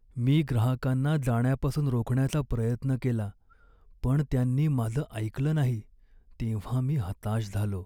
मी ग्राहकांना जाण्यापासून रोखण्याचा प्रयत्न केला, पण त्यांनी माझं ऐकलं नाही तेव्हा मी हताश झालो.